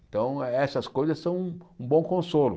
Então, eh essas coisas são um bom consolo.